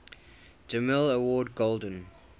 demille award golden